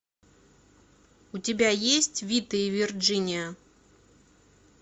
у тебя есть вита и вирджиния